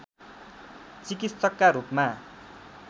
चिकित्सकका रूपमा